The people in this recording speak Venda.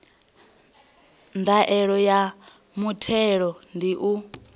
ndaela ya muthelo ndi u